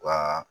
Wa